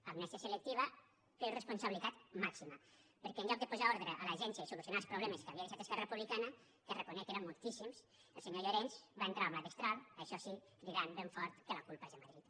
amnèsia selectiva però irresponsabilitat màxima perquè en lloc de posar ordre a l’agència i solucionar els problemes que havia deixat esquerra republicana que reconec que eren moltíssims el senyor llorens va entrar amb la destral això sí cridant ben fort que la culpa és de madrid